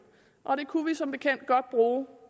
og det kunne vi som bekendt godt bruge